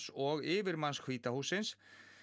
og yfirmanns hvíta hússins